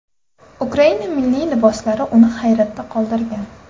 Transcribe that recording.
Ukraina milliy liboslari uni hayratda qoldirgan.